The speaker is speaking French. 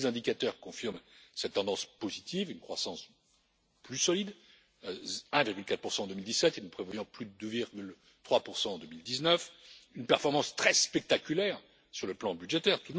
Tous les indicateurs confirment cette tendance positive une croissance plus solide une performance très spectaculaire sur le plan budgétaire